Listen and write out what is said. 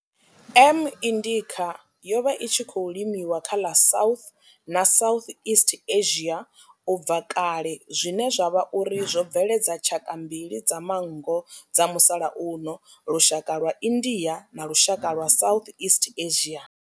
M indica yo vha i tshi khou limiwa kha ḽa South na Southeast Asia ubva kale zwine zwa vha uri zwo bveledza tshaka mbili dza manngo dza musalauno lushaka lwa India na lushaka lwa Southeast Asia.